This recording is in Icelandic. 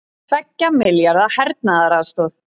Tveggja milljarða hernaðaraðstoð